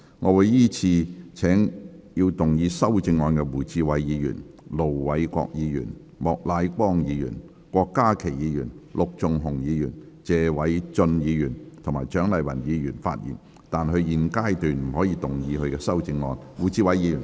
我會依次請要動議修正案的胡志偉議員、盧偉國議員、莫乃光議員、郭家麒議員、陸頌雄議員、謝偉俊議員及蔣麗芸議員發言，但他們在現階段不可動議修正案。